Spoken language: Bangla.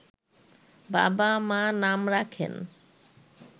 বাবা-মা নাম রাখেন